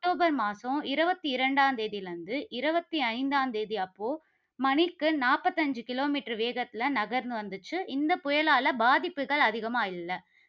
October மாதம் இருபத்தி இரண்டாம் தேதியிலிருந்து, இருபத்தி ஐந்தாம் தேதி அப்போ, மணிக்கு நாற்பத்தி ஐந்து kilometer வேகத்தில நகர்ந்து வந்துச்சு. இந்த புயலால பாதிப்புகள் அதிகமா இல்ல.